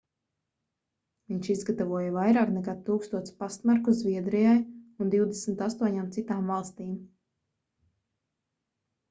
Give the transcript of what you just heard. viņš izgatavoja vairāk nekā 1000 pastmarku zviedrijai un 28 citām valstīm